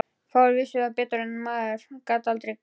Fáir vissu það betur en maður sem gat aldrei gleymt.